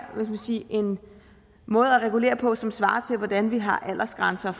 en måde at regulere på som svarer til hvordan vi har aldersgrænser